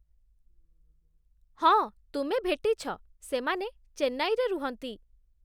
ହଁ ତୁମେ ଭେଟିଛ, ସେମାନେ ଚେନ୍ନାଇରେ ରୁହନ୍ତି ।